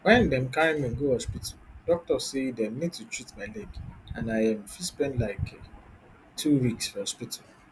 wen dem carry me go hospital doctor say dem need to treat my leg and i um fit spend like two weeks for hospital